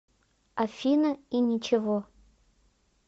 афина и ничего